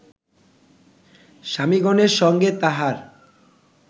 স্বামিগণের সঙ্গে তাঁহার